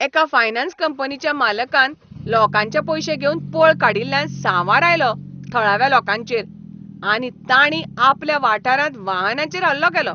एका फायनान्स कंपनीच्या मालकान लोकांचे पयशे घेवन पळ काडिल्ल्यान सांवार आयलो थळाव्या लोकांचेर आनी तांणीं आपल्या वाठारांत वाहनांचेर हल्लो केलो.